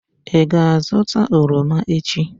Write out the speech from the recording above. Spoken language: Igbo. ị ga-azụta oroma echi?